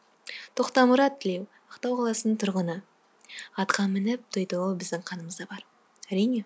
тоқтамұрат тілеу ақтау қаласының тұрғыны атқа мініп той тойлау біздің қанымызда бар әрине